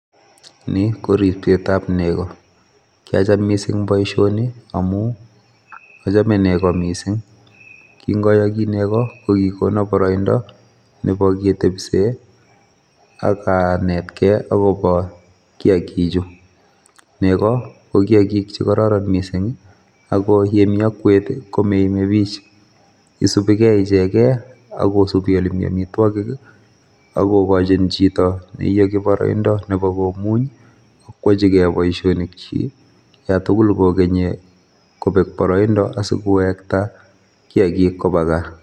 Ni koribseet ab negoo, kiacham missing boishoni ngamun achome negoo missing, kin ayogii negoo ko kikonoon boroindo Nebo ketebseen ak anetgee akobo kiyaagikchu. Negoo ko kiyaagik che kororon missing, ak yemi okwet I,komoimebik. Isubigee ichegen ak kosibii olemi amitwogiik, akokochin chito neiyogii konyor boroindoo komuny ak koyachigei boishonik chi olantugul kokeni kobeg boroido asikowektaa kiyaagiik koba gaa